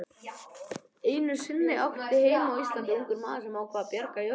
Einu sinni átti heima á Íslandi ungur maður sem ákvað að bjarga jörðinni.